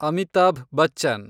Amitabh Bachchan